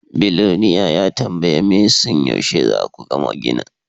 Biloniare ya tambayi Manson yaushe za ku gama ginin.